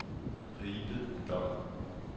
Ribe Dom